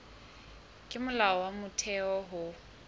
ke molao wa motheo ho